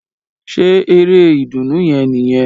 Ṣe eré ìdùnnú yẹn nìyẹn?